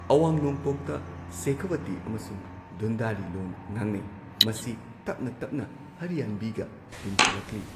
ꯑꯋꯥꯡ ꯅꯣꯡꯄꯣꯛꯇ ꯁꯦꯈꯥꯋꯇꯤ ꯑꯃꯁꯨꯡ ꯙꯨꯟꯗꯥꯔꯤ ꯂꯣꯟ ꯉꯥꯡꯅꯩ, ꯃꯁꯤ ꯇꯞꯅ ꯇꯞꯅ ꯍꯔ꯭ꯌꯥꯟꯕꯤꯒ ꯇꯤꯟꯁꯤꯜꯂꯛꯂꯤ꯫